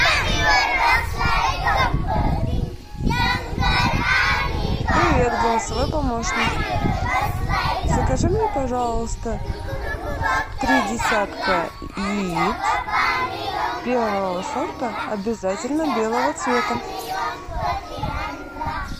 привет голосовой помощник закажи мне пожалуйста три десятка яиц первого сорта обязательно белого цвета